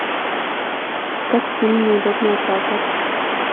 искать фильм неудобная правда